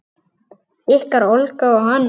Ykkar Olga og Hannes.